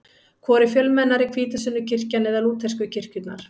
Hvor er fjölmennari, hvítasunnukirkjan eða lútersku kirkjurnar?